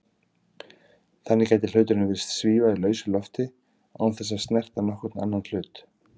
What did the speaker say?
Þannig gæti hluturinn virst svífa í lausu lofti án þess að snerta nokkurn annan hlut.